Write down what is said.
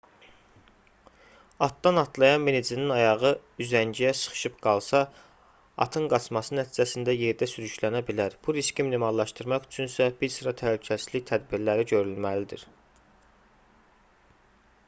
atdan atlayan minicinin ayağı üzəngiyə sıxışıb qalsa atın qaçması nəticəsində yerdə sürüklənə bilər bu riski minimallaşdırmaq üçünsə bir sıra təhlükəsizlik tədbirləri görülməlidir